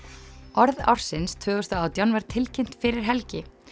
orð ársins tvö þúsund og átján var tilkynnt fyrir helgi